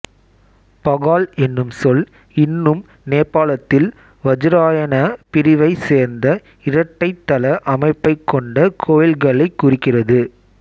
பகால் என்னும் சொல் இன்னும் நேபாளத்தில் வஜ்ராயனா பிரிவைச் சேர்ந்த இரட்டைத் தள அமைப்பைக் கொண்ட கோயில்களைக் குறிக்கிறது